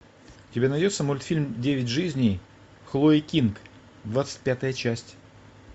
у тебя найдется мультфильм девять жизней хлои кинг двадцать пятая часть